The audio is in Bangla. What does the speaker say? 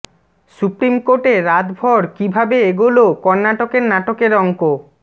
সুপ্রিম কোর্টে রাতভর কী ভাবে এগোল কর্নাটকের নাটকের অঙ্ক